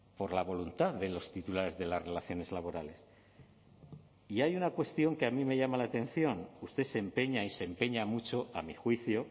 por la voluntad de los titulares de las relaciones laborales y hay una cuestión que a mí me llama la atención usted se empeña y se empeña mucho a mi juicio